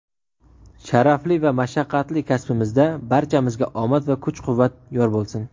Sharafli va mashaqqatli kasbimizda barchamizga omad va kuch-quvvat yor bo‘lsin!.